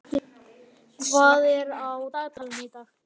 Edith, hvað er á dagatalinu í dag?